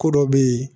Ko dɔ be yen